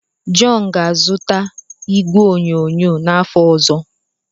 John ga-azụta igwe onyonyo n'afọ ọzọ.